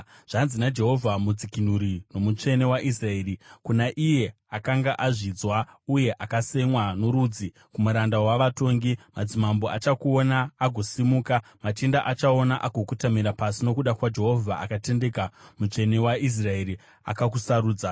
Zvanzi naJehovha, Mudzikinuri noMutsvene waIsraeri, kuna iye akanga azvidzwa uye akasemwa norudzi, kumuranda wavatongi: “Madzimambo achakuona agosimuka, machinda achaona agokotamira pasi, nokuda kwaJehovha akatendeka, Mutsvene waIsraeri, akakusarudza.”